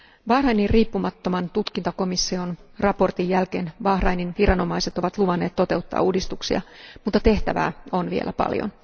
Bahrainin riippumattoman tutkintakomission raportin jälkeen Bahrainin viranomaiset ovat luvanneet toteuttaa uudistuksia, mutta tehtävää on vielä paljon.